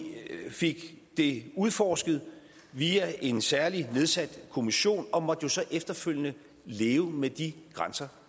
fik det udforsket via en særligt nedsat kommission og måtte jo så efterfølgende leve med de grænser